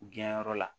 Biyɛnyɔrɔ la